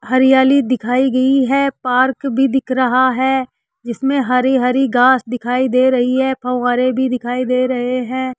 हरियाली दिखाई गयी है पार्क भी दिख रहा है जिसमें हरी हरी घास दिखाई दे रही है फव्वारे भी दिखाई दे रहे है।